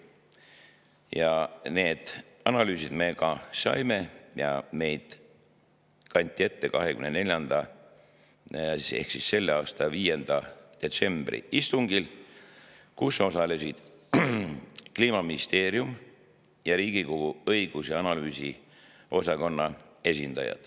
Sellekohased analüüsid me ka saime ja need kanti ette 2024. ehk selle aasta 5. detsembri istungil, kus osalesid Kliimaministeeriumi ning Riigikogu õigus‑ ja analüüsiosakonna esindajad.